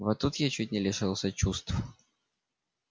вот тут я чуть не лишилась чувств